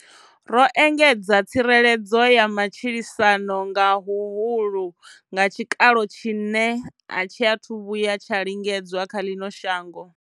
Ro engedza tsireledzo ya matshilisano nga huhulu nga tshikalo tshine a tshi athu vhuya tsha lingedzwa kha ḽino shango.